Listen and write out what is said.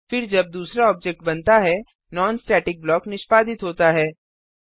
फिर जब दूसरा ऑब्जेक्ट बनता है नॉन स्टेटिक ब्लॉक निष्पादित होता है